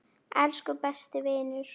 Elsku besti vinur.